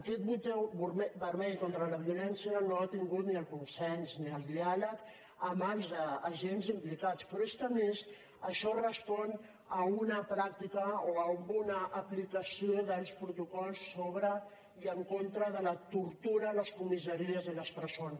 aquest botó vermell contra la violència no ha tingut ni el consens ni el diàleg amb els agents implicats però és que a més això respon a una pràctica o a una aplicació dels protocols sobre i en contra de la tortura a les comissaries i a les presons